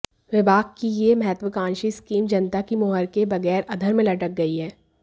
विभाग की यह महत्त्वाकांक्षी स्कीम जनता की मुहर के बगैर अधर में लटक गई है